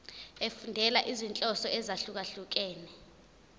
efundela izinhloso ezahlukehlukene